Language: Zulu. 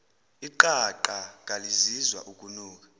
iqaqa kalizizwa ukunuka